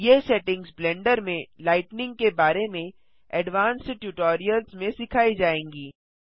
ये settings Blender में लाइटनिंग के बारे में एडवांस्ड ट्यूटोरियल्स में सिखाई जायेंगी